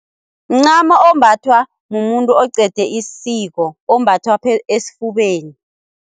Mncamo ombathwa mumuntu oqede isiko ombathwa esifubeni.